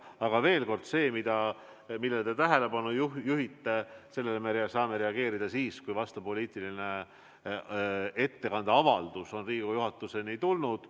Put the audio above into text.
Aga veel kord: sellele, millele te tähelepanu juhite, me saame reageerida siis, kui vastav poliitilise ettekande avaldus on Riigikogu juhatuseni jõudnud.